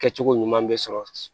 Kɛcogo ɲuman bɛ sɔrɔ